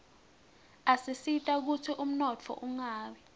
asisita kutsi umnotfo ungawi